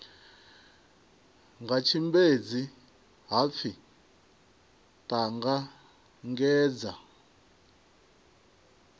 nga tshimbedzi ha pfi ṱanangedza